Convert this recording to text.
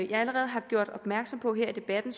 jeg allerede har gjort opmærksom på her i debatten